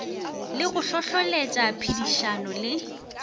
le go hlohloletša phedišano le